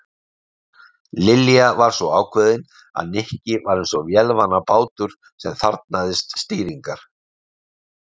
Lilja var svo ákveðin að Nikki var eins og vélarvana bátur sem þarfnaðist stýringar.